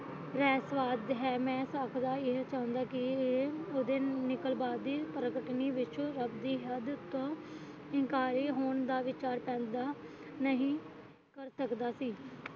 ਰਾਏ ਸਵਾਦ ਹੈ ਮੈਂ ਸਕਦਾ ਇਹ ਸਮਝੋ ਕਿ ਇਹ ਰੱਬ ਦੀ ਹੱਦ ਤੋਂ ਇਨਕਾਰੀ ਹੋਣ ਦਾ ਵਿਚਾਰ ਤੱਕ ਨਹੀਂ ਕਰ ਸਕਦਾ ਸੀ